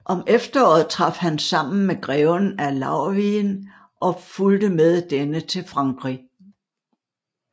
Om efteråret traf han sammen med greven af Laurwigen og fulgte med denne til Frankrig